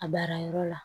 A baara yɔrɔ la